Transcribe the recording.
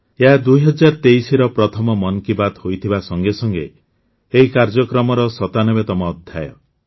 ଏହା ୨୦୨୩ର ପ୍ରଥମ ମନ୍ କି ବାତ୍ ହୋଇଥିବା ସଙ୍ଗେ ସଙ୍ଗେ ଏହି କାର୍ଯ୍ୟକ୍ରମର ୯୭ତମ ଅଧ୍ୟାୟ